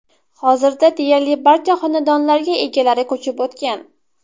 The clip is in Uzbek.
Hozirda deyarli barcha xonadonlarga egalari ko‘chib o‘tgan.